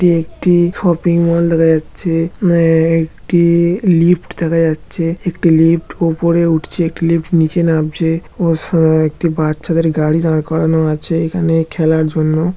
এটি একটি -shopping mall দেখা যাচ্ছে এ-এ-একটি- লিফট দেখা যাচ্ছে একটি লিফট উপরে উঠছে একটি লিফট নিচে নামছে ও সা একটি বাচ্চাদের গাড়ি দাঁড় করানো আছে এখানে খেলার জন্য।